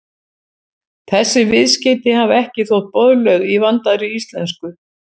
Þessi viðskeyti hafa ekki þótt boðleg í vandaðri íslensku.